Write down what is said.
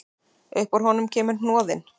Upp úr honum kemur hnoðinn.